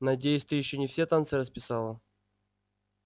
надеюсь ты ещё не все танцы расписала